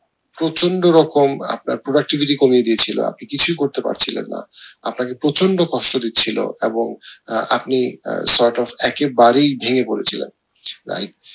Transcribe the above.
প্রচন্ড রকম আপনার productivity কমিয়ে দিয়েছিলো আপনি কিছুই করতে পারছিলেন না আপনাকে প্রচন্ড কষ্ট দিছিলো এবং আহ আপনি আহ একে বারেই ভেঙে পড়েছিলেন right